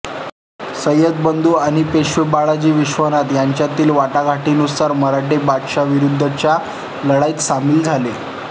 सय्यद बंधू आणि पेशवे बाळाजी विश्वनाथ यांच्यातील वाटाघाटीनुसार मराठे बादशाहविरुद्धच्या लढाईत सामील झाले